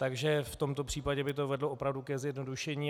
Takže v tomto případě by to vedlo opravdu ke zjednodušení.